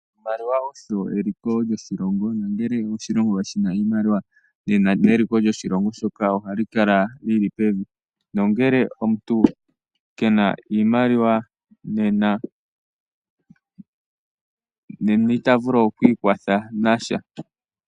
Oshimaliwa osho eliko lyoshilongo. Nangele oshilongo kashina oshimaliwa, nde nange eliko lyoshilongo shoka ohali kala lyili pevi, nangele omuntu kena iimaliwa nena ita vulu okwiikwatha nasha .